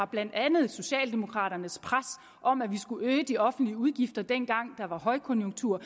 blandt andet socialdemokraternes pres om at vi skulle øge de offentlige udgifter dengang der var højkonjunktur